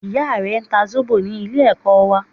Ìya rẹ n ta Zóbò ní Ilé ẹ̀kọ́ wà